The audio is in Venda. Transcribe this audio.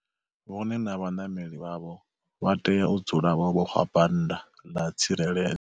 Vhone na vhanameli vhavho vha tea u dzula vho vhofha bannda ḽa tsirele.